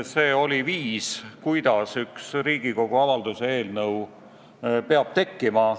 See toimus viisil, kuidas üks Riigikogu avalduse eelnõu peab tekkima.